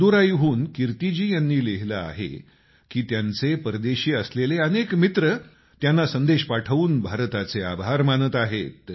मदुराईहून कीर्तिजी यांनी लिहिलं आहे की त्यांचे अनेक परदेशी असलेले अनेक मित्र त्यांना संदेश पाठवून भारताचे आभार मानत आहेत